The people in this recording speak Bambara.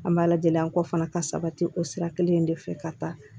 An b'a lajɛ an kɔ fana ka sabati o sira kelen in de fɛ ka taa